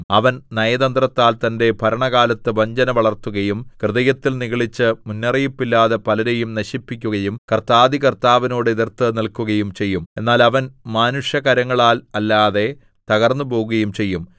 അവൻ നയതന്ത്രത്താൽ തന്റെ ഭരണകാലത്ത് വഞ്ചന വളർത്തുകയും ഹൃദയത്തിൽ നിഗളിച്ച് മുന്നറിയിപ്പില്ലാതെ പലരെയും നശിപ്പിക്കുകയും കർത്താധികർത്താവിനോട് എതിർത്ത് നില്‍ക്കുകയും ചെയ്യും എന്നാൽ അവൻ മാനുഷകരങ്ങളാൽ അല്ലാതെ തകർന്നുപോകുകയും ചെയ്യും